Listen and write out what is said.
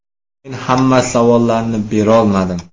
– Men hamma savollarni berolmadim.